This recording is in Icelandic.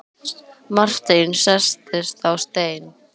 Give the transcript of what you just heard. Marteinn settist á stein.